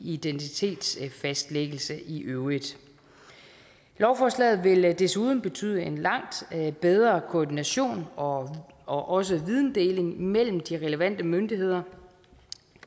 identitetsfastlæggelse i øvrigt lovforslaget vil desuden betyde en langt bedre koordination og og også videndeling mellem de relevante myndigheder